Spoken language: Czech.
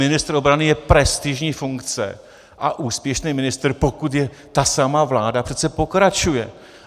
Ministr obrany je prestižní funkce a úspěšný ministr, pokud je ta samá vláda, přece pokračuje.